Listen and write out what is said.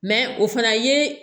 o fana ye